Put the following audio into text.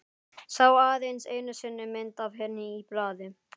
Sá aðeins einu sinni mynd af henni í blaði.